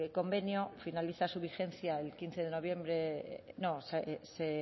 convenio finaliza su vigencia el quince de noviembre no se